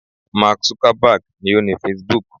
Mark Zuckerberg ni o ni Facebook